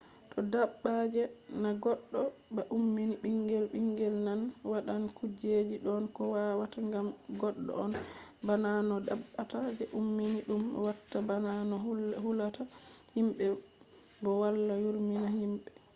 to dabba je na goddo ba ummini bingel bingel man wadan kujeji don ko wawata gam goddo on bana no dabbawa je ummini dum watta bana no hulata himbe bo wala yurmina himbe